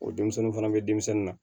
O denmisɛnnin fana bɛ denmisɛnnin na